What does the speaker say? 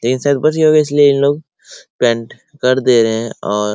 इसलिए इन लोग पेंट कर दे रहे है और --